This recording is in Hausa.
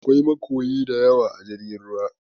Aƙwai makoyi daƴawa a jirgin ruwa.